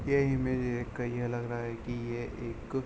ये इमेज देख के ये लग रहा की ये एक --